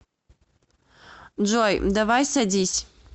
джой давай садись